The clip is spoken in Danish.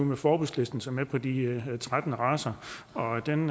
med forbudslisten som er på de her tretten racer og den